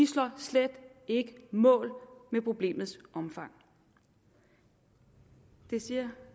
står slet ikke mål med problemets omfang og det siger